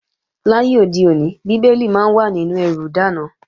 Láyé òde òní, Bíbélì máa ń wà nínú ẹrù ìdáná